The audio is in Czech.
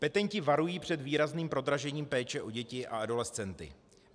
Petenti varují před výrazným prodražením péče o děti a adolescenty.